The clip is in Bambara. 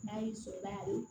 N'a y'i sɔrɔ a la